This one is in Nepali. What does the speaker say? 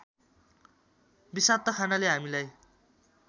विषाक्त खानाले हामीलाई